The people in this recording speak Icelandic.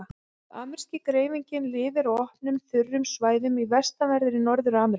Ameríski greifinginn lifir á opnum, þurrum svæðum í vestanverðri Norður-Ameríku.